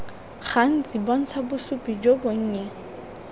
gantsi bontsha bosupi jo bonnye